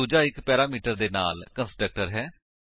ਦੂਜਾ ਇੱਕ ਪੈਰਾਮੀਟਰ ਦੇ ਨਾਲ ਕੰਸਟਰਕਟਰ ਹੈ